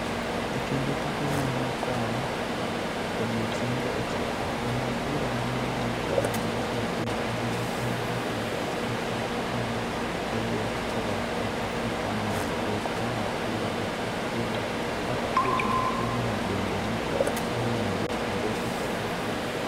E kinde tuke ma nokawo odiechienge ochiko, jang'ad bura maduong' mar Kenya Nelson Otieno ema ne en jatelo achiel kende ma ne oyier koa e Afrika mondo obed jang'ad bura e tukego kata obedo ni piemno bende ne oywayo Morocco kod Algeria.